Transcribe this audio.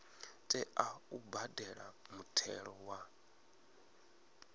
tea u badela muthelo wa